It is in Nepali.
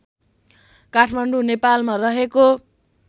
काठमाडौँ नेपालमा रहेको